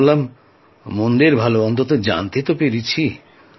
ভাবলাম মন্দের ভাল অন্তত জানতে তো পেরেছি